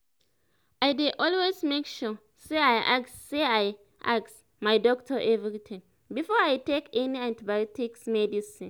i dey always make sure say i ask say i ask my doctor everytime before i take any antibiotics medicine